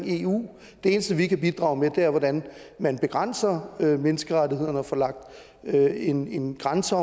eu det eneste vi kan bidrage med er hvordan man begrænser menneskerettighederne og får lagt en en grænse